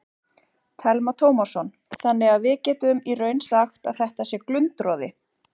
Telma Tómasson: Þannig að við getum í raun sagt að þetta sé glundroði?